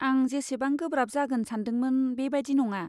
आं जेसेबां गोब्राब जागोन सान्दोंमोन, बेबादि नङा।